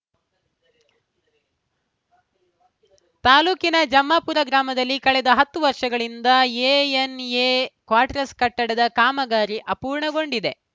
ತಾಲೂಕಿನ ಜಮ್ಮಾಪುರ ಗ್ರಾಮದಲ್ಲಿ ಕಳೆದ ಹತ್ತು ವರ್ಷಗಳಿಂದ ಎಎನ್‌ಎ ಕ್ವಾಟ್ರಸ್‌ ಕಟ್ಟಡ ಕಾಮಗಾರಿ ಅಪೂರ್ಣಗೊಂಡಿದೆ